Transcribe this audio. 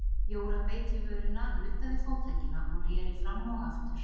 Jóra beit í vörina, nuddaði fótleggina og reri fram og aftur.